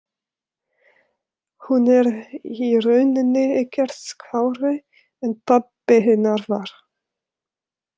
Hún er í rauninni ekkert skárri en pabbi hennar var.